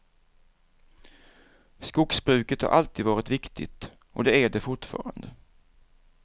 Skogsbruket har alltid varit viktigt och det är det fortfarande.